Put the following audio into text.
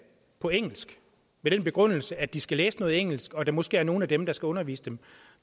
på engelsk med den begrundelse at de skal læse noget engelsk og at der måske er nogle af dem der skal undervise dem